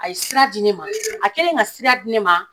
A ye sira di ne ma a kɛlen ka sira di ne ma